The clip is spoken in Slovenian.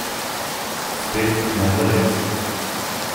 Spet, ne zares.